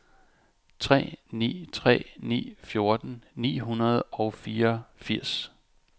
tre ni tre ni fjorten ni hundrede og fireogfirs